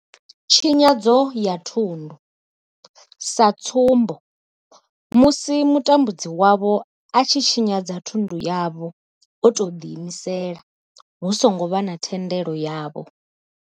Tshinyadzo ya thundu sa tsumbo, musi mutambudzi wavho a tshi tshinyadza thundu yavho o tou ḓiimisela hu songo vha na thendelo yavho.